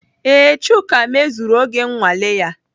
Ee, Chuka mezuru oge nnwale ya.